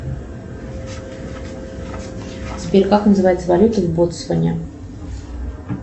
сбер как называется валюта в ботсване